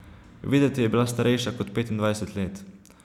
Videti je bila starejša kot petindvajset let.